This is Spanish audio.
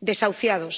desahuciados.